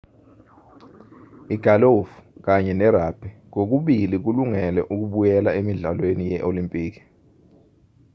igalufu kanye nerugbhi kokubili kulungele ukubuyela emidlalweni ye-olimpiki